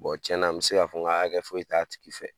tiɲɛ na n be se ka fɔ ŋa hakɛ foyi t'a tigi fɛ.